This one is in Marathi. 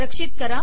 रक्षित करा